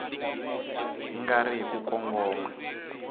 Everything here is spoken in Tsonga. nga ri hi ku kongoma